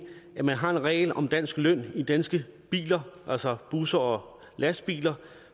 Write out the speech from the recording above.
at man har en regel om dansk løn i danske biler altså busser og lastbiler